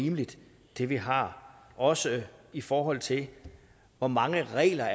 rimeligt det vi har også i forhold til hvor mange regler